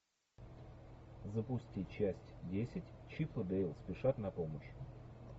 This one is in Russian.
запусти часть десять чип и дейл спешат на помощь